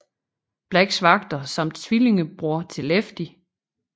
Blacks vagter samt tvillingebror til Lefty